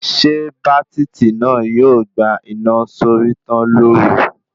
Ṣé bátítì náà yóò gbà iná sórí tán lóru